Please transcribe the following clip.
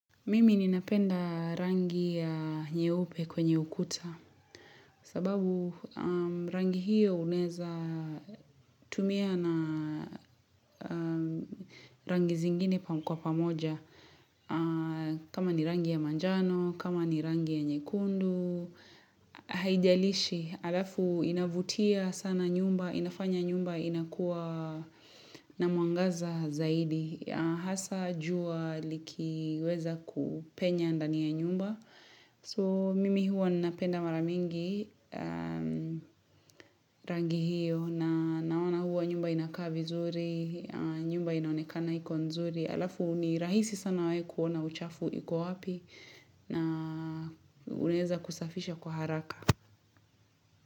Mimi ninapenda rangi ya nyeupe kwenye ukuta sababu rangi hiyo unaeza tumia na rangi zingine kwa pamoja kama ni rangi ya manjano, kama ni rangi ya nyekundu haijalishi, alafu inavutia sana nyumba, inafanya nyumba inakuwa na mwangaza zaidi hasa jua likiweza kupenya ndani ya nyumba. So mimi huwa ninapenda mara mingi rangi hiyo na naona huwa nyumba inakaa vizuri nyumba inaonekana iko nzuri alafu ni rahisi sana we kuona uchafu iko wapi na unaeza kusafisha kwa haraka.